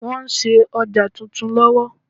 Wọ́n ń ṣe ọjà titun lọ́wọ́.